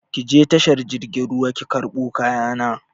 Ki je tashar jirgin ruwa ki karɓo kaya na!